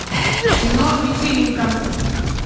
кино вечеринка